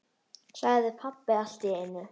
sagði pabbi allt í einu.